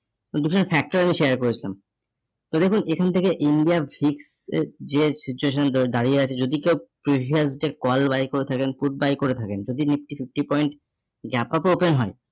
factor আমি share করেছিলাম। তো দেখুন এখান থেকে India এর যে situation গুলো দাঁড়িয়ে আছে, যদি কেউ previous day call buy করে থাকেন, put buy করে থাকেন, যদি nifty fifty point open হয় দু খানা factor আমি share করেছিলাম ।